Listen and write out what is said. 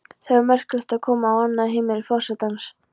Það er merkilegt að koma á annað heimili forsetans.